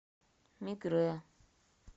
мигре